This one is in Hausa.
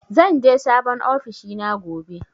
Zan je sabon ofishina gobe.